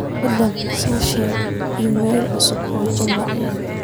fadlan ii soo sheeg iimaylo cusub oo juma